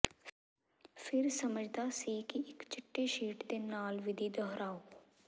ਫਿਰ ਸਮਝਦਾ ਸੀ ਕਿ ਇੱਕ ਚਿੱਟੇ ਸ਼ੀਟ ਦੇ ਨਾਲ ਵਿਧੀ ਦੁਹਰਾਓ